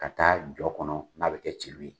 Ka taa jɔ kɔnɔ n'a bɛ kɛ celu ye.